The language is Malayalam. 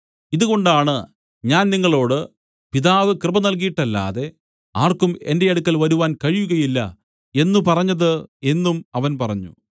ഇതുകൊണ്ടാണ് ഞാൻ നിങ്ങളോടു പിതാവ് കൃപ നല്കീട്ടല്ലാതെ ആർക്കും എന്റെ അടുക്കൽ വരുവാൻ കഴിയുകയില്ല എന്നു പറഞ്ഞത് എന്നും അവൻ പറഞ്ഞു